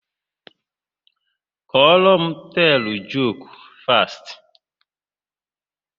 Kọrọ m teelụ joku fast!